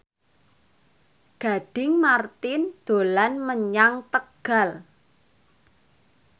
Gading Marten dolan menyang Tegal